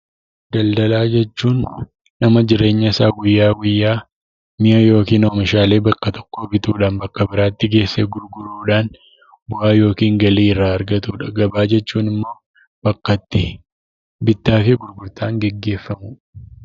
Daldalaa jechuun nama jireenya isa guyya guyyaa mi'aa yookiin oomishaalee tokko tokkoo bituudhaan bakka biraatti geseee gurguruu bu'aa yookiin gaalii irra argatuu jechuudha. Gabaa jechuun immoo bakka itti bitaaf gurgurtaan geeggeefamuu.